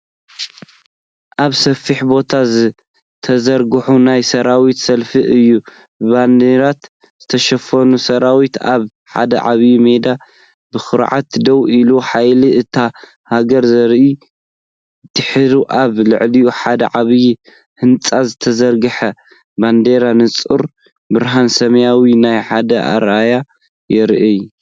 ኣብ ሰፊሕ ቦታ ዝተዘርግሐ ናይ ሰራዊት ሰልፊ እዩ። ብባነራት ዝተሸፈነ ሰራዊት ኣብ ሓደ ዓቢ ሜዳ ብኹርዓት ደው ኢሉ ሓይሊ እታ ሃገር ዘርኢ፤ ድሒሩ ኣብ ልዕሊ ሓደ ዓቢ ህንጻ ዝተዘርግሐ ባነርን ንጹር ብርሃን ሰማይን ናብ ሓደ ራእይ ይረኣዩ።